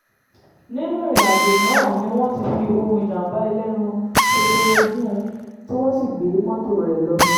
nínú ìrìn-àjò náà ni wọ́n ti fi ohùn ìjàm̀bá ẹlẹ́nu ṣóṣóró gùn ún tí wọ́n sì gbé mọ́tò rẹ̀ lọ